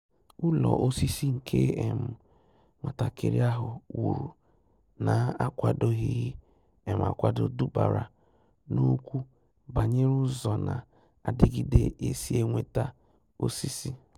Ụ́lọ́ ósísí nke um nwàtàkị́rị́ áhụ́ wùrù nà-ákwàdòghị́ um ákwádò dùbàrà n’ókwù bànyéré ụ́zọ́ nà-àdị́gídé ésí é nwétà ósísí.